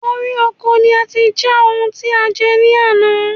Orí oko ni ati já oun tí a jẹ ní àná